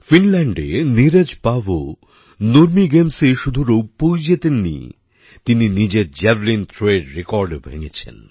ফিনল্যান্ডে Neeraj Paavo Nurmi গেমসে শুধু রৌপ্যই জিতেননি তিনি নিজের জ্যাভলিন থ্রোএর রেকর্ডও ভেঙেছেন